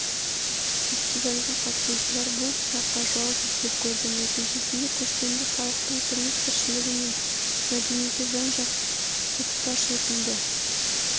фестивальға қатысушылар бұл сұраққа жауап іздеп көрді нәтижесінде көшпенді халықтың тұрмыс-тіршілігі мен мәдениеті жан-жақты паш етілді